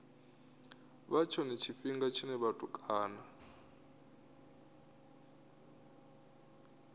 vha tshone tshifhinga tshine vhatukana